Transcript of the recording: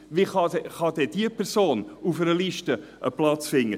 Wie kann denn diese Person einen Platz auf einer Liste finden?